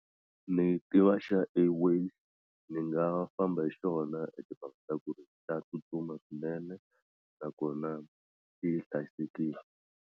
Ni tiva xa Airways ni nga famba hi xona i timhaka ta ku ri xa tsutsuma swinene nakona xi hlayisekile.